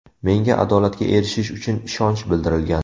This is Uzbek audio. Menga adolatga erishish uchun ishonch bildirilgan!